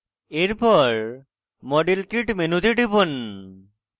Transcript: এরপর model kit মেনুতে টিপুন